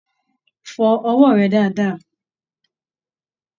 Fọ ọwọ rẹ dáadáa!